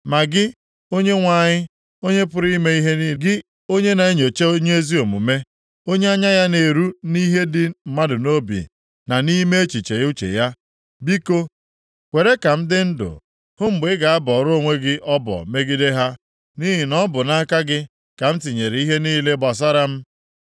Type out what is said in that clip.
Ma gị, Onyenwe anyị, Onye pụrụ ime ihe niile, gị, onye na-enyocha onye ezi omume, onye anya ya na-eru nʼihe dị mmadụ nʼobi na nʼime echiche uche ya, biko, kwere ka m dị ndụ hụ mgbe ị ga-abọrọ onwe gị ọbọ megide ha, nʼihi na ọ bụ nʼaka gị ka m tinyere ihe niile gbasara m.